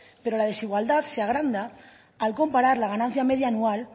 pero la desigualdad se agranda al comparar la ganancia media anual